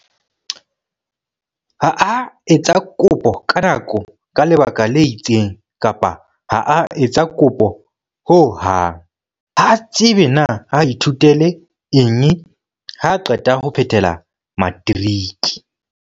Ha a etsa kopo ka nako ka lebaka le itseng kapa ha a etsa kopo ho hang. Ha a tsebe na a ithutele eng haa qeta ho phethela matriki.